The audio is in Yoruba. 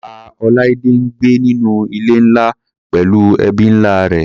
Pa. Olaide ń gbé nínú ilé ńlá pẹllú ẹbí ńlá rẹ̀.